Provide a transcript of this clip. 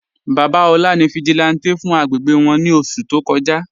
Baba Ola ni vigílántè fún àgbégbé wọn ni oṣù tó kọ́jà..